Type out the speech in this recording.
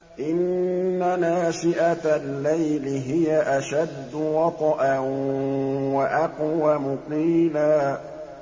إِنَّ نَاشِئَةَ اللَّيْلِ هِيَ أَشَدُّ وَطْئًا وَأَقْوَمُ قِيلًا